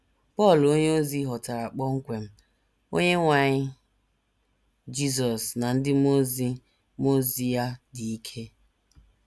Pọl onyeozi hotara kpọmkwem, “ Onyenwe anyị Jizọs ” na “ ndị mmụọ ozi mmụọ ozi ya dị ike. ”